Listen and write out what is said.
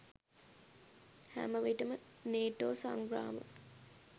හැමවිටම නේටෝ සංග්‍රාම